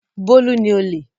Bólú ni olè.